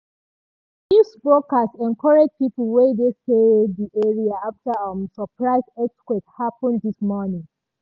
di news broadcast encourage people wey dey stay di area after um surprise earthquake happen this morning.